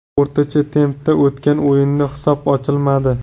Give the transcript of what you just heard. O‘rtacha tempda o‘tgan o‘yinda hisob ochilmadi.